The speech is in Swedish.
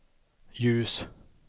ljus